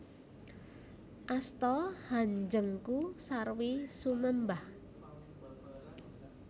Asta hanjengku sarwi sumembah